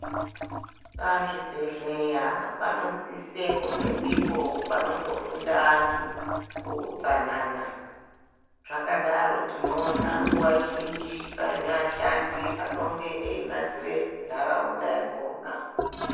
Pazvibhehleya panosise kunge ndipo panotofunda antu utsanana. Zvakadaro tinoona nguwa zhinji paine ashandi anenge eyinasira ntaraunda yakhona.